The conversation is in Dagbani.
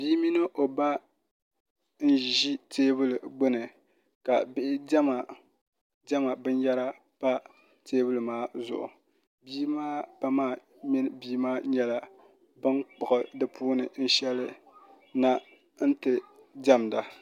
Bia mini o ba n ʒi teebuli gbuni ka bihi diɛma diɛma binyahari pa teebuli maa zuɣu bia maa ba maa mini bia maa nyɛla bin kpuɣu di puuni shɛli na n ti diʋmda